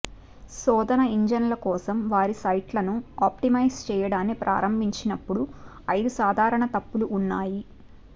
శోధన ఇంజిన్ల కోసం వారి సైట్లను ఆప్టిమైజ్ చేయడాన్ని ప్రారంభించినప్పుడు ఐదు సాధారణ తప్పులు ఉన్నాయి